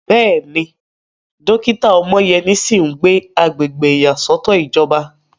Bẹ́ẹ̀ni, dókítà Omoyeni sì ń gbé agbègbè ìyàsọ́tọ̀ ìjọba.